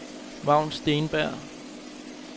Vagn Steenberg